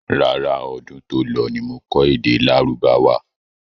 Rárá, ọdún to lọ ní mo kọ́ èdè lárúbáwá.